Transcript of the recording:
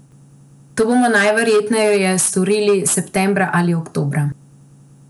To bomo najverjetneje storili septembra ali oktobra.